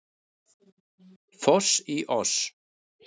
Foss í oss